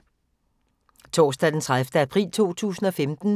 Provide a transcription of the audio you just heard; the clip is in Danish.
Torsdag d. 30. april 2015